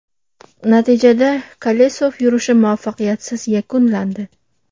Natijada, Kolesov yurishi muvaffaqiyatsiz yakunlandi.